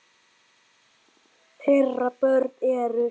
Þeirra börn eru.